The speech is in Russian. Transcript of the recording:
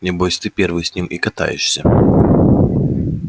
небось ты первый с ним и катаешься